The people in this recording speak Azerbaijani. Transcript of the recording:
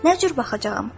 Nə cür baxacağam?